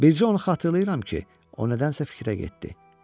Bircə onu xatırlayıram ki, o nədənsə fikrə getdi.